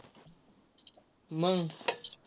मग.